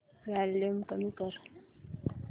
volume कमी कर